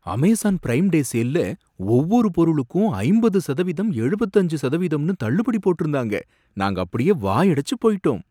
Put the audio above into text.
Amazon prime day சேல்ல ஒவ்வொரு பொருளுக்கும் ஐம்பது சதவீதம் எழுபத்து அஞ்சு சதவீதம்னு தள்ளுபடி போட்டிருந்தாங்க, நாங்க அப்படியே வாயடைச்சு போயிட்டோம்.